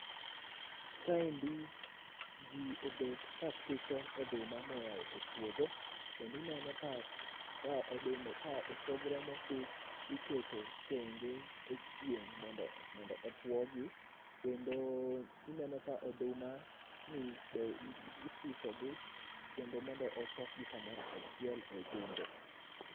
kaendi ji obet ka suso oduma moya e puodho kendo ineno ka oduma osogro mosus iketo thenge e chieng mondo otuogi kendo ineno ka oduma ni be isuso gi kendo mondo ochok gi kamoro achiel e gunde